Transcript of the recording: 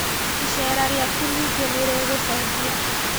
Icera rĩakũ ningĩ nĩrĩgũcenjia